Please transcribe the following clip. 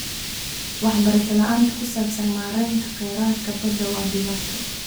Waxbarasho la'aanta ku saabsan maareynta kheyraadka badda waa dhibaato.